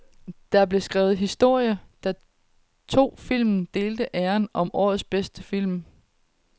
Der blev skrevet historie, da to film delte æren som årets bedste film.